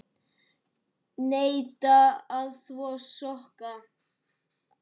Neita að þvo sokka.